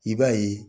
I b'a ye